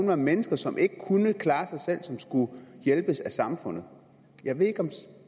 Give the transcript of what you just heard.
være mennesker som ikke kunne klare sig selv som skulle hjælpes af samfundet jeg ved ikke om